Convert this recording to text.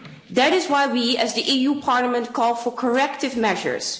That is why we as the EU Parliament call for corrective measures.